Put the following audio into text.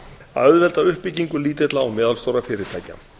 að auðvelda uppbyggingu lítilla og meðalstórra fyrirtækja